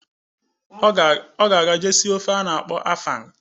Ọ ga eje sie ofe a na-akpọ afang